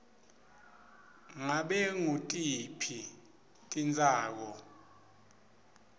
ngabe ngutiphi titsako